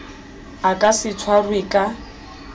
a ka se tshwarwe ka